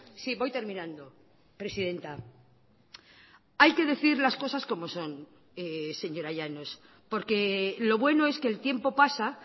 sí voy terminando presidenta hay que decir las cosas como son señora llanos porque lo bueno es que el tiempo pasa